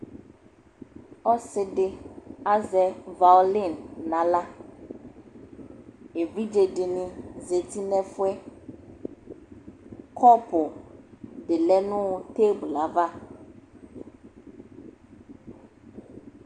ɔsiidi azɛ violin nʋ ala, ɛvidzɛ dini zati nʋ ɛƒʋɛ, kʋpʋ di lɛnʋ tableɛ aɣa